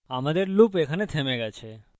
সুতরাং আমাদের loop এখানে থেমে গেছে